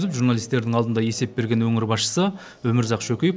журналистердің алдында есеп берген өңір басшысы өмірзақ шөкеев